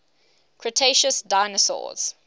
cretaceous dinosaurs